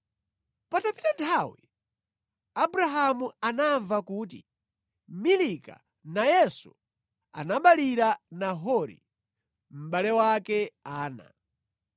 Patapita nthawi, Abrahamu anamva kuti, “Milika nayenso anaberekera Nahori, mʼbale wake ana.